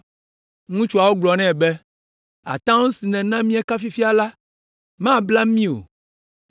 Ŋutsuawo gblɔ nɛ be, “Atam si nèna míeka fifia la, mabla mí o,